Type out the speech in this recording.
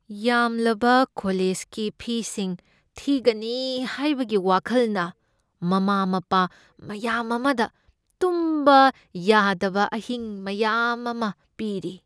ꯌꯥꯝꯂꯕ ꯀꯣꯂꯦꯖꯀꯤ ꯐꯤꯁꯤꯡ ꯊꯤꯒꯅꯤ ꯍꯥꯏꯕꯒꯤ ꯋꯥꯈꯜꯅ ꯃꯃꯥ ꯃꯄꯥ ꯃꯌꯥꯝ ꯑꯃꯗ ꯇꯨꯝꯕ ꯌꯥꯗꯕ ꯑꯍꯤꯡ ꯃꯌꯥꯝ ꯑꯃ ꯄꯤꯔꯤ ꯫